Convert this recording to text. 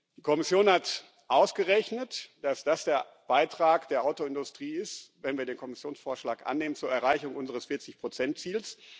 Die Kommission hat ausgerechnet, dass das der Beitrag der Autoindustrie ist wenn wir den Kommissionsvorschlag annehmen zur Erreichung unseres 40 Ziels.